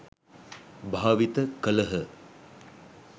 භාවිත කළහ.